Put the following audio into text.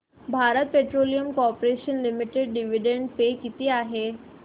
Bharat petroleum corporation limited dividend pay किती आहे